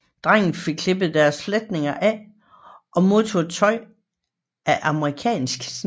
Drenge fik klippet deres fletninger af og modtog tøj af amerikansk snit